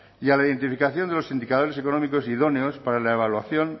y a la identificación de los indicadores económicos idóneos para la evaluación